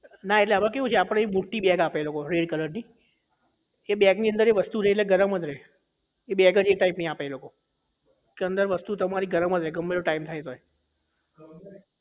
ના એટલે એમાં આપણે કેવું છે મોટી bag આપે આ લોકો આપણને એમાં red color ની એ bag ની અંદરએ વસ્તુ રહે એટલે ગરમ જ રહે એ bag જ એ type ની આપે એ લોકો કે અંદર વસ્તુ તમારી અંદર જ રહે ગમે તેટલો time થાય તોય